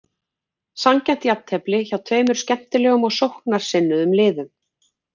Sanngjarnt jafntefli hjá tveimur skemmtilegum og sóknarsinnuðum liðum.